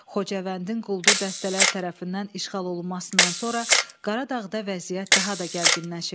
Xocavəndin quldur dəstələri tərəfindən işğal olunmasından sonra Qaradağda vəziyyət daha da gərginləşib.